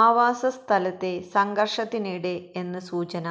ആവാസസ്ഥലത്തെ സംഘര്ഷത്തിനിടെ എന്ന് സൂചന